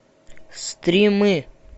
стримы